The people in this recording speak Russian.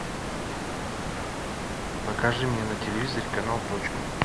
покажи мне на телевизоре канал точка